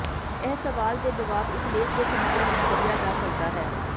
ਇਹ ਸਵਾਲ ਦੇ ਜਵਾਬ ਇਸ ਲੇਖ ਦੇ ਸਮੱਗਰੀ ਵਿੱਚ ਲੱਭਿਆ ਜਾ ਸਕਦਾ ਹੈ